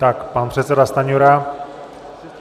Tak pan předseda Stanjura.